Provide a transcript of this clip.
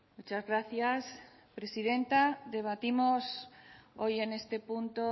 muchas gracias presidenta debatimos hoy en este punto